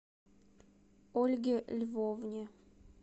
ольге львовне